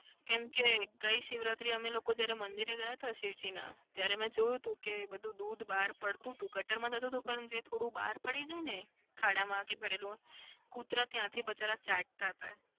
કેમ કે ગઈ શિવરાત્રી અમે લોકો જયારે મંદિરે ગયા હતા શિવજીના ત્યારે મેં જોઉં હતું કે બધું દૂધ બહાર પડતું હતું ગટરમાં જતું હતું પણ થોડું બહાર પડી જાયને ખાડામાં કે પડેલું. કુતરા ત્યાંથી બચારા ચાટતા હતા.